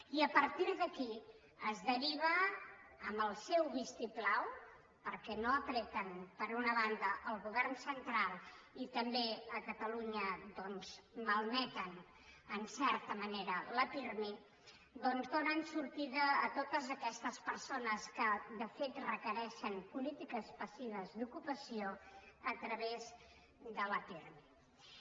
i a partir d’aquí es deriva amb el seu vistiplau perquè no pressionen d’una banda el govern central i també a catalunya malmeten en certa manera el pirmi doncs donen sortida a totes aquestes persones que de fet requereixen polítiques passives d’ocupació a través del pirmi